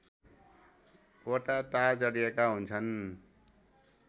वटा तार जडिएका हुन्छन्